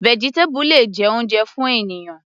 Vegetable le jẹ́ oúnjẹ fún ènìyàn.